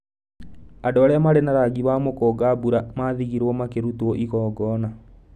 Andũ arĩa maarĩ na rangi wa mũkũnga-mbura maathigirwo makĩrutwo igongona.